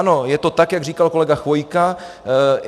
Ano, je to tak, jak říkal kolega Chvojka.